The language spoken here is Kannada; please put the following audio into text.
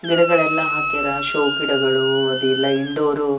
ಗಿಡಗಳೆಲ್ಲ ಹಾಕ್ಯಾರ ಷೋ ಗಿಡಗಳು ಅದ್ ಎಲ್ಲ ಇಂಡೋರ್ --